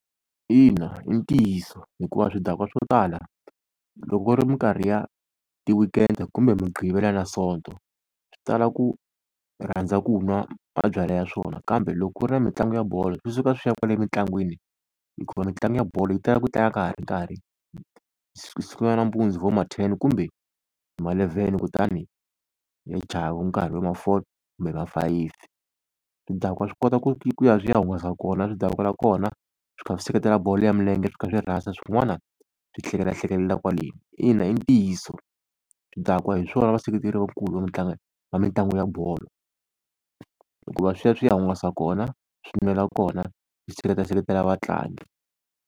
Ina i ntiyiso hikuva swidakwa swo tala loko ku ri minkarhi ya ti-weekend-e kumbe mugqivela na sonto swi tala ku rhandza ku nwa mabyala ya swona. Kambe loko ku ri na mitlangu ya bolo swi suka swi ya kwale emitlangwini, hikuva mitlangu ya bolo yi tala ku tlanga ka ha ri nkarhi, yi sungula nampundzu hi vo ma ten kumbe hi malevhene kutani yi ya chaya hi nkarhi wo vo ma four kumbe hi ma fayifi. Swidakwa swi kota ku ya swi ya hungasa kona swi dakwela kona, swi kha swi seketela bolo ya milenge, swi kha swi rhasa swin'wana swi hlekelelahlekelela kwaleni. Ina i ntiyiso swidakwa hi swona vaseketeri vakulu va va mitlangu ya bolo hikuva swi ya swi ya hungasa kona swi nwela kona swi seketela, seketela vatlangi.